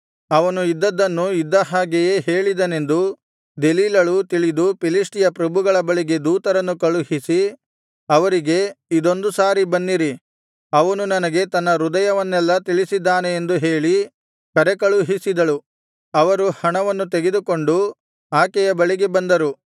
ಅವನು ಇದ್ದದ್ದನ್ನು ಇದ್ದ ಹಾಗೆಯೇ ಹೇಳಿದನೆಂದು ದೆಲೀಲಳು ತಿಳಿದು ಫಿಲಿಷ್ಟಿಯ ಪ್ರಭುಗಳ ಬಳಿಗೆ ದೂತರನ್ನು ಕಳುಹಿಸಿ ಅವರಿಗೆ ಇದೊಂದು ಸಾರಿ ಬನ್ನಿರಿ ಅವನು ನನಗೆ ತನ್ನ ಹೃದಯವನ್ನೆಲ್ಲಾ ತಿಳಿಸಿದ್ದಾನೆ ಎಂದು ಹೇಳಿ ಕರೆಕಳುಹಿಸಿದಳು ಅವರು ಹಣವನ್ನು ತೆಗೆದುಕೊಂಡು ಆಕೆಯ ಬಳಿಗೆ ಬಂದರು